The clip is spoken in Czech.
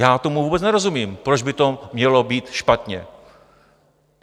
Já tomu vůbec nerozumím, proč by to mělo být špatně.